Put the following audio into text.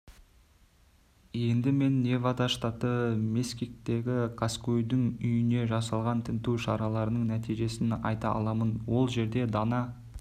енді мен невада штаты мескиттегі қаскөйдің үйіне жасалған тінту шараларының нәтижесін айта аламын ол жерден дана